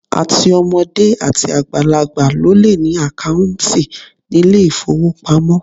Àti ọmọdé àti àgbàlagbà ló le ní àkáùntì nílé ìfówopamọ́.